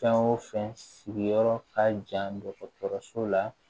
Fɛn o fɛn sigiyɔrɔ ka jan dɔgɔtɔrɔso la